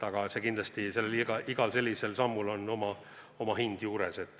Ja kindlasti igal selles suunas tehtaval sammul on oma hind juures.